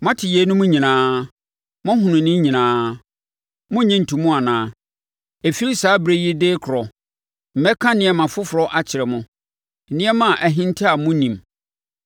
Moate yeinom nyinaa; moahunu ne nyinaa. Morennye nto mu anaa? “Ɛfiri saa ɛberɛ yi de rekorɔ mɛka nneɛma foforɔ akyerɛ mo, nneɛma a ahinta a monnim.